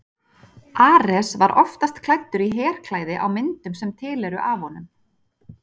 ares var oftast klæddur í herklæði á myndum sem til eru af honum